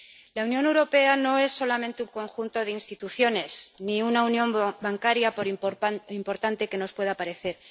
La Unión Europea no es solamente un conjunto de instituciones ni una unión bancaria, por importante que nos pueda parecer.